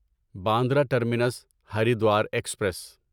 Bandra terminus Haridwar express